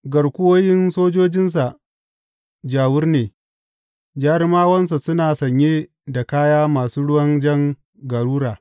Garkuwoyin sojojinsa ja wur ne; jarumawansa suna sanye da kaya masu ruwan jan garura.